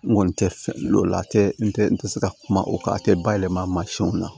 N kɔni tɛ fɛ o la a tɛ n tɛ n tɛ se ka kuma o kan a tɛ bayɛlɛmasɔnw na